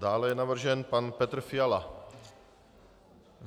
Dále je navržen pan Petr Fiala.